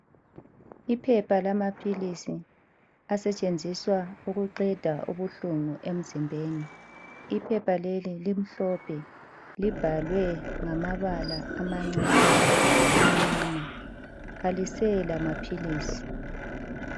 Iphepha lamaphilisi asetshenziswa ukuqeda ubuhlungu emzimbeni. Iphepha leli limhlophe libhalwe ngamabala amancane amnyama. Kalisela maphilisi.